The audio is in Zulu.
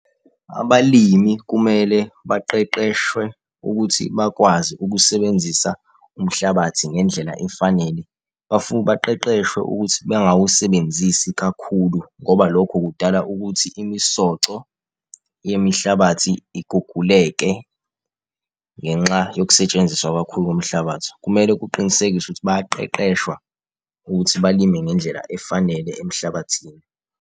Abalimi kumele baqeqeshwe ukuthi bakwazi ukusebenzisa umhlabathi ngendlela efanele, baqeqeshwe ukuthi bangawasebenzisa kakhulu ngoba lokho kudala ukuthi imisoco yemihlabathi iguguleke, ngenxa yokusetshenziswa kakhulu komhlabathi. Kumele kuqinisekiswe ukuthi bayaqeqeshwa ukuthi balime ngendlela efanele emhlabathini.